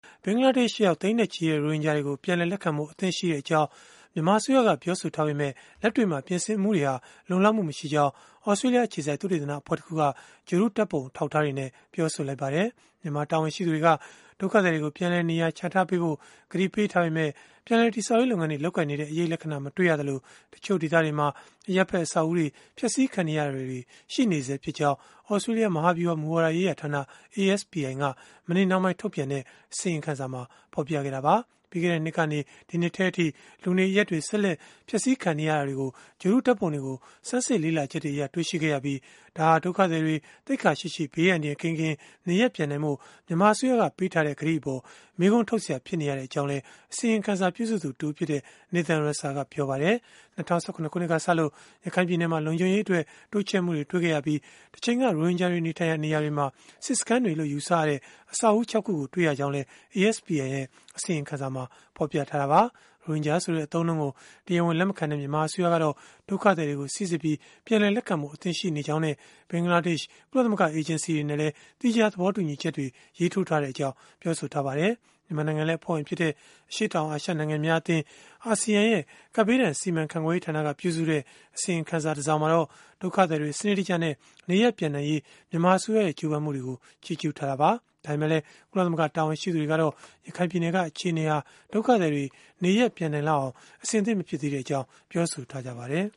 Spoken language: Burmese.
ဘင်္ဂလားဒေ့ရှ်ရောက် သိန်းနဲ့ချီတဲ့ ရိုဟင်ဂျာတွေကို ပြန်လည်လက်ခံဖို့ အသင့်ရှိကြောင်း မြန်မာအစိုးရက ပြောဆိုထားပေမဲ့ လက်တွေ့မှာ ပြင်ဆင်မှုတွေဟာ လုံလောက်မှု မရှိကြောင်း သြစတေးလျှ အခြေစိုက် သုတေသနအဖွဲ့တခုက ဂြိုဟ်တုဓာတ်ပုံ အထောက်အထားတွေနဲ့ ပြောဆိုလိုက်ပါတယ်။ မြန်မာတာဝန်ရှိသူတွေက ဒုက္ခသည်တွေကို ပြန်လည်နေရာချထားပေးဖို့ ကတိပေးထားပေမဲ့ ပြန်လည်တည်ဆောက်ရေး လုပ်ငန်းတွေ လုပ်ကိုင်နေတဲ့ အရိပ်လက္ခဏာ မတွေ့ရသလို တချို့ဒေသတွေမှာ အရပ်ဘက် အဆောက်အဦးတွေ ဖျက်ဆီးခံနေရတာတွေ ရှိနေဆဲဖြစ်ကြောင်း သြစတေးလျှ မဟာဗျုဟာ မူဝါဒရေးရာဌာန (ASPI) က မနေ့နှောင်းပိုင်း ထုတ်ပြန်တဲ့ အစီရင်ခံစာမှာ ဖော်ပြခဲ့တာပါ။ ပြီးခဲ့တဲ့နှစ်ကနေ ဒီနှစ်ထဲအထိ လူနေအရပ်တွေ ဆက်လက် ဖျက်ဆီးခံနေရတာတွေကို ဂြိုဟ်တုဓာတ်ပုံတွေကို ဆန်းစစ်လေ့လာချက်တွေအရ တွေ့ရှိခဲ့ရပြီး ဒါဟာ ဒုက္ခသည်တွေ သိက္ခာရှိရှိ ဘေးအန္တရာယ်ကင်းကင်း နေရပ်ပြန်နိုင်ဖို့ မြန်မာအစိုးရက ပေးထားတဲ့ ကတိအပေါ် မေးခွန်းထုတ်စရာ ဖြစ်နေရကြောင်းလည်း အစီရင်ခံစာ ပြုစုသူတဦးဖြစ်တဲ့ Nathan Ruser ကပြောပါတယ်။ ၂၀၁၇ ခုနှစ်ကစလို့ ရခိုင်ပြည်နယ်မှာ လုံခြုံရေးအတွက် တိုးချဲ့မှုတွေ တွေ့ခဲ့ရပြီး တချိန်က ရိုဟင်ဂျာတွေ နေထိုင်ရာနေရာတွေမှာ စစ်စခန်းတွေလို့ ယူဆရတဲ့ အဆောက်အဦး ခြောက် ခုကို တွေ့ရှိရကြောင်းလည်း ASPI ရဲ့ အစီရင်ခံစာမှာ ဖော်ပြထားတာပါ။ ရိုဟင်ဂျာဆိုတဲ့ အသုံးအနှုန်းကို တရားဝင် လက်မခံတဲ့ မြန်မာအစိုးရကတော့ ဒုက္ခသည်တွေကို စိစစ်ပြီး ပြန်လည်လက်ခံဖို့ အသင့်ရှိနေကြောင်းနဲ့ ဘင်္ဂလားဒေ့ရှ် ကုလသမဂ္ဂ အေဂျင်စီတွေနဲ့လည်း သီးခြား သဘောတူညီချက်တွေ ရေးထိုးထားကြောင်း ပြောဆိုထားပါတယ်။ မြန်မာနိုင်ငံလည်း အဖွဲ့ဝင်ဖြစ်တဲ့ အရှေ့တောင်အာရှ နိုင်ငံများအသင်း (ASEAN) ရဲ့ ကပ်ဘေးဒဏ်စီမံခန့်ခွဲရေးဌာနက ပြုစုတဲ့ အစီရင်ခံစာ တစောင်မှာတော့ ဒုက္ခသည်တွေ စနစ်တကျနဲ့ နေရပ်ပြန်နိုင်ရေး မြန်မာအစိုးရရဲ့ ကြိုးပမ်းမှုတွေကို ချီးကျုးခဲ့တာပါ။ ဒါပေမဲ့လည်း ကုလသမဂ္ဂ တာဝန်ရှိသူတွေကတော့ ရခိုင်ပြည်နယ်က အခြေအနေဟာ ဒုက္ခသည်တွေ နေရပ်ပြန်နိုင်လောက်အောင် အဆင်သင့် မဖြစ်သေးကြောင်း ပြောဆိုထားပါတယ်